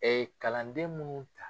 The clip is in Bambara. Ɛɛ kalanden minnu ta